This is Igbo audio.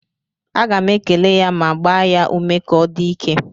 Aga m ekele ya ma gbaa ya ume ka ọ dị ike